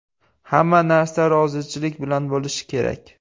Hamma narsa rozichilik bilan bo‘lishi kerak.